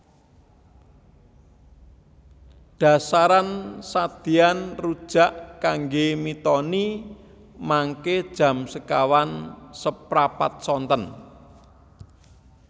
Dasaran sadean rujak kangge mitoni mangke jam sekawan seprapat sonten